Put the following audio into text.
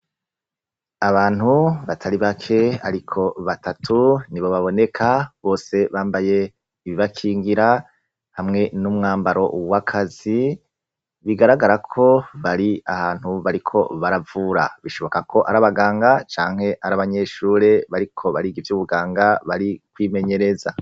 Abantu batari bake ariko batatu nibo baboneka, bose bambaye ibibakingira hamwe n'umwambaro w'akazi, bigaragara ko bari ahantu bariko baravura. Bishoboka ko ari abaganga canke ari abanyeshure bariko bariga ivy'ubuganga bari kwimenyereza.